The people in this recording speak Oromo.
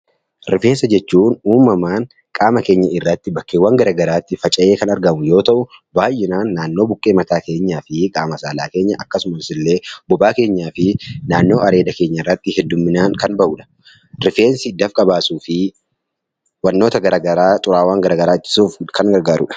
Rifeensa jechuun uumamaan qaama keenya irratti iddoowwan garaagaraa irraatti faca'ee kan argamu yoo ta'u, baayyinaan buqqee mataa keenyaa fi naannoo qaama saalaa keenya akkasumas illee bobaa keenyaa fi naannoo areeda keenya irratti baayyinaan kan bahudha. Rifeensi dafqa baasuu fi wantoota gara garaa xuraawaa ittisuuf kan gargaarudha.